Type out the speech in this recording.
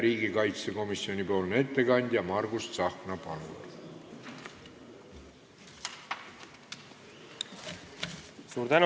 Riigikaitsekomisjoni ettekandja Margus Tsahkna, palun!